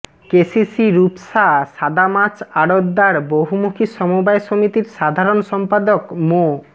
KCC Rupsa সাদামাছ আড়তদার বহুমুখী সমবায় সমিতির সাধারণ সম্পাদক মো